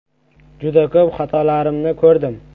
Juda ko‘p xatolarimni ko‘rdim.